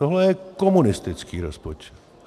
Tohle je komunistický rozpočet.